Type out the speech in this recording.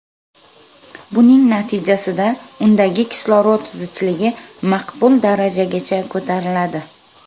Buning natijasida undagi kislorod zichligi maqbul darajagacha ko‘tariladi.